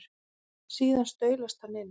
Síðan staulast hann inn.